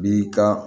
Bi ka